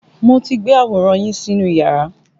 Mo ti gbé àwòrán yín sínú iyàrá.